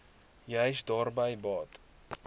juis daarby baat